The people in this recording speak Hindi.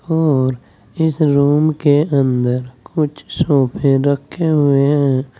और इस रूम के अंदर कुछ सोफे रखे हुए हैं।